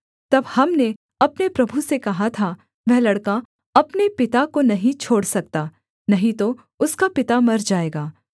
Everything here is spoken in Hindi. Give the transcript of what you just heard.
तब हमने अपने प्रभु से कहा था वह लड़का अपने पिता को नहीं छोड़ सकता नहीं तो उसका पिता मर जाएगा